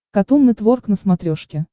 катун нетворк на смотрешке